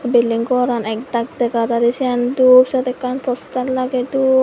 bilding goran ekdak dega jaidey siyan dup siyot ekkan poster lagey don.